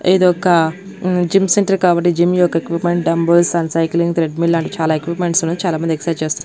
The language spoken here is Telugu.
ఇదొక హుమ్ జిమ్ సెంటర్ కాబట్టి జిమ్ యొక్క equipment dumbbells and cycling treadmill చాలా ఎక్విప్మెంట్స్ ఉన్నాయి చాలామంది ఎక్సైజ్ చేస్తున్నారు.